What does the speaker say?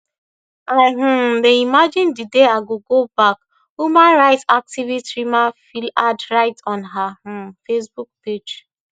i um dey imagine di day i go go back human rights activist rima flihan write on her um facebook page